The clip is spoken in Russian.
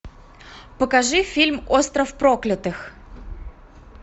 покажи фильм остров проклятых